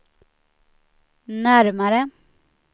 närmare